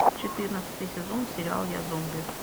четырнадцатый сезон сериал я зомби